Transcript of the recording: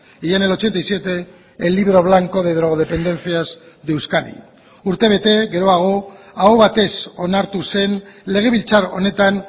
y en el ochenta y siete el libro blanco de drogodependencias de euskadi urtebete geroago aho batez onartu zen legebiltzar honetan